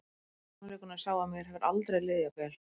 Sannleikurinn er sá að mér hefur aldrei liðið jafn vel.